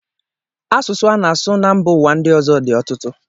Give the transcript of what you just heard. Asụsụ ana-asụ na mba ụwa ndị ọzọ dị ọtụtụ.